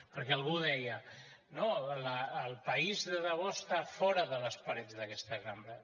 perquè algú deia no el país de debò està fora de les parets d’aquesta cambra